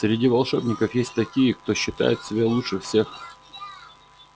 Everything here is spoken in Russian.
среди волшебников есть такие кто считает себя лучше всех